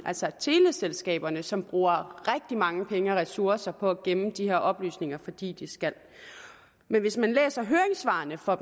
altså teleselskaberne som bruger rigtig mange penge og ressourcer på at gemme de her oplysninger fordi de skal men hvis man læser høringssvarene fra